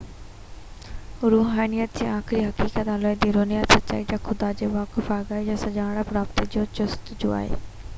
روحانيت هڪ آخرين حقيقت الاهي روحاني سچائي يا خدا جي واقف آگاهي سان سڃاڻپ رابطي جي جستجو آهي